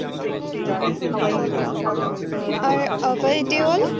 আর অভয় দেওয়াল।